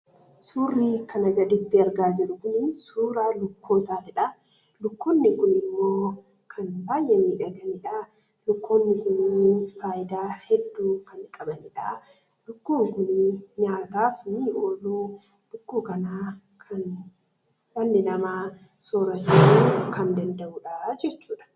Suurri kana gaditti argaa jirru kun suuraa lukkootaatidha. Lukkoonni kunimmoo kan baay'ee miidhaganidha. Lukkoonni fayidaalee heduu kan qabanidha. Lukkuun kun nyaataaf ni oolu. Dhalli namaa soorataaf kan fayyadamudha jechuudha.